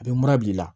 A bɛ mana bila i la